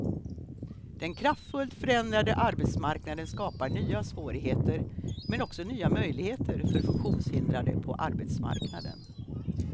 Den kraftfullt förändrade arbetsmarknaden skapar nya svårigheter, men också nya möjligheter för funktionshindrade på arbetsmarknaden.